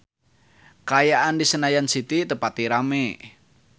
Kaayaan di Senayan City teu pati rame